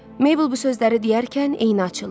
Mebl bu sözləri deyərkən eyni açıldı.